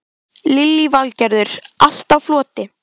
Lillý Valgerður: Allt á floti?